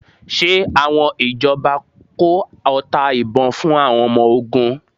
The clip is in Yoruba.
Ṣe àwọn ìjọba kó ọta ìbon fún àwọn ọmọ ogun?